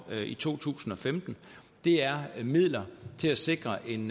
i to tusind og femten er midler til at sikre en